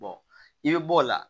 i bɛ bɔ o la